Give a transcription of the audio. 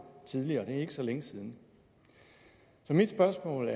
tidligere og det er ikke så længe siden mit spørgsmål